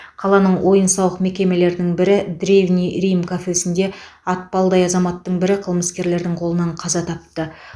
қаланың ойын сауық мекемелерінің бірі древний рим кафесінде атпалдай азаматтың бірі қылмыскерлердің қолынан қаза тапты